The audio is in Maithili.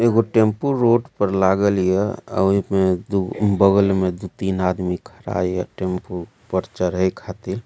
एगो टैम्पू रोड पर लागल हिए और ओहे में दू बगल में दू तीनगो आदमी खड़ा हिए टैम्पू में चढ़े खातिर।